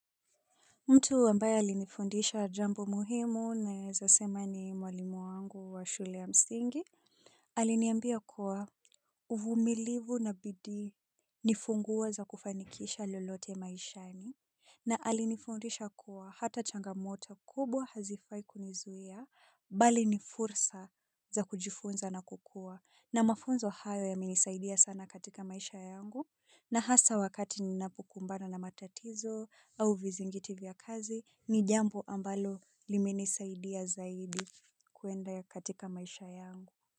Mtu ambaye alinifundisha jambo muhimu naeza sema ni mwalimu wangu wa shule ya msingi. Aliniambia kuwa uvulimilivu na bidii funguo za kufanikisha lolote maishani. Na alinifundisha kuwa hata changamoto kubwa hazifai kunizuia bali ni fursa za kujifunza na kukua. Na mafunzo hayo yamenisaidia sana katika maisha yangu. Na hasa wakati ninapokumbana na matatizo au vizingiti vya kazi ni jambo ambalo limenisaidia zaidi kuenda katika maisha yangu.